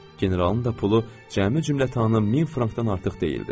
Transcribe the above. Generalın da pulu cəmi cümlətanı min frankdan artıq deyildi.